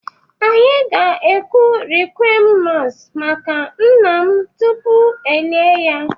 Anyị ga-ekwu requiem mass maka nna m tupu e lie ya